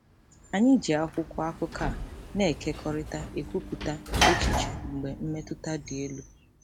Anyị na-eji akwụkwọ akụkọ a na-ekekọrịta ekwupụta echiche mgbe mmetụta dị elu.